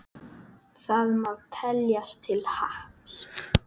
Það má teljast til happs.